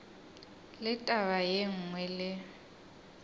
le taba ye nngwe le